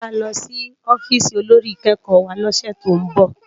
Mô ma lò si òfìsí ôlórí ikèékò wá lòsè tó n bò